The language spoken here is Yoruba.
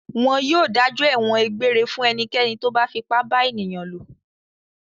Wọn yóò dájọ́ ẹ̀wọ̀n egbére fún ẹnikẹ́ni tó bá fipá bá ènìyàn lò.